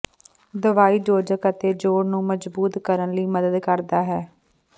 ਦਵਾਈ ਯੋਜਕ ਅਤੇ ਜੋਡ਼ ਨੂੰ ਮਜ਼ਬੂਤ ਕਰਨ ਲਈ ਮਦਦ ਕਰਦਾ ਹੈ